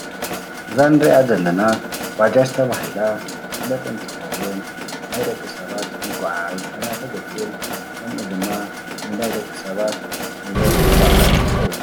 እዛ ንሪአ ዘለና ባጃጅ ተባሂላ ትፍለጥ እንትትከውን ናይ ደቂ ሰባት መጋዓዓዚ ኮይና ተገልግል ከምኡ ድማ ንናይ ደቂ ሰባት ንብረት መጎዓዓዚ ትከውን፡፡